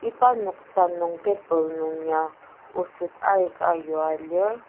iba noksa nung table nung ya oset aika yua lir.